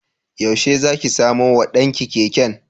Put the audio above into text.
Yaushe za ki samo wa ɗan ki keken?